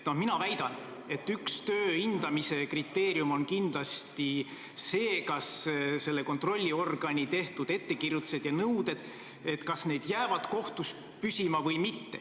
Mina väidan, et üks töö hindamise kriteerium on kindlasti see, kas kontrollorgani tehtud ettekirjutused ja nõuded jäävad kohtus püsima või mitte.